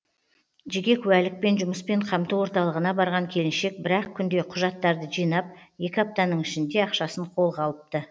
жеке куәлікпен жұмыспен қамту орталығына барған келіншек бір ақ күнде құжаттарды жинап екі аптаның ішінде ақшасын қолға алыпты